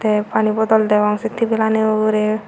tey pani bodol deong sey tebilani ugurey.